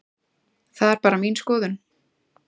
Það er bara mín skoðun.